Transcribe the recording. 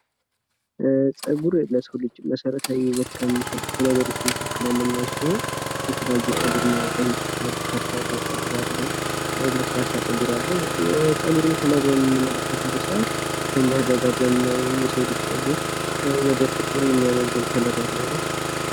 ፀጉር በቆዳ ላይ የሚበቅል የፕሮቲን ክሮች ስብስብ ሲሆን የሰውንነት ሙቀት በመጠበቅና ቆዳን በመከላከል ጠቃሚ ሚና ይጫወታል።